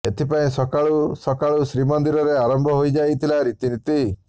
ଏଥିପାଇଁ ସକାଳୁ ସକାଳୁ ଶ୍ରୀମନ୍ଦିରରେ ଆରମ୍ଭ ହୋଇଯାଇ ଥିଲା ରୀତିନୀତି